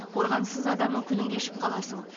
қорғансыз адамның күнін кешіп қаласың